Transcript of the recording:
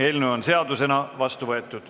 Eelnõu on seadusena vastu võetud.